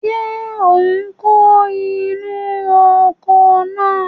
Ṣé ò ń kó inú oko náà?